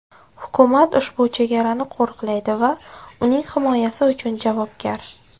Hukumat ushbu chegarani qo‘riqlaydi va uning himoyasi uchun javobgar.